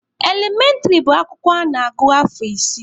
Elementịrị bụ akwụkwọ a na-agụ afọ isii.